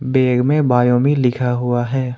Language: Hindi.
बैग में बायो में लिखा हुआ है।